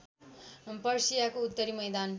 पर्सियाको उत्तरी मैदान